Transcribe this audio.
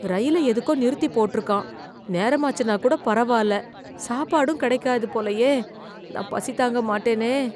ரயில எதுக்கோ நிறுத்தி போட்ருக்கான், நேரமாச்சுன்னா கூட பரவால்ல, சாப்பாடும் கிடைக்காது போலயே. நான் பசி தாங்க மாட்டேனே.